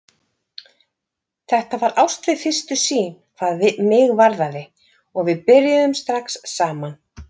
Þetta var ást við fyrstu sýn, hvað mig varðaði, og við byrjuðum strax saman.